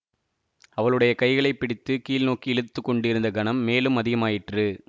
அவளுடைய கைகளை பிடித்து கீழ் நோக்கி இழுத்து கொண்டிருந்த கனம் மேலும் அதிகமாயிற்று